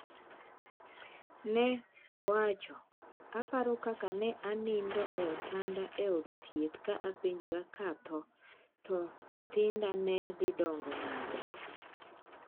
Neowacho: “Aparo kaka ne anindo e otanda e od thieth ka apenjora ka atho, to nyithinda ne dhi dongo nade?